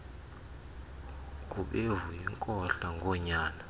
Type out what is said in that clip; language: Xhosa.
gubevu yinkohla ngonyana